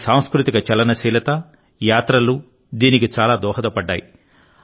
మన సాంస్కృతిక చలనశీలతయాత్రలు దీనికి చాలా దోహదపడ్డాయి